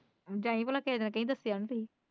ਜਾਈ ਭਲਾ ਦੱਸਿਆ ਨਹੀਂ ਤੁਸੀ।